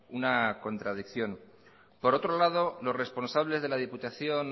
una contradicción por otro lado los responsables de la diputación